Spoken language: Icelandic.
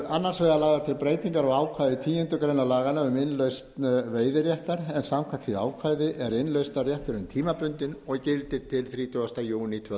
annars vegar lagðar til breytingar á ákvæði tíundu grein laganna um innlausn veiðiréttar en samkvæmt því ákvæði er innlausnarrétturinn tímabundinn og gildir til þrítugasta júní tvö